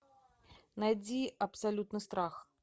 найди абсолютный страх